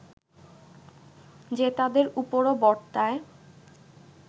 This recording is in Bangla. যে তাদের উপরও বর্তায়